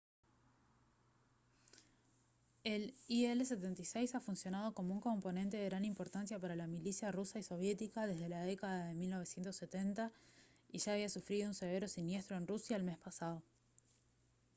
el il-76 ha funcionado como un componente de gran importancia para la milicia rusa y soviética desde la década de 1970 y ya había sufrido un severo siniestro en rusia el mes pasado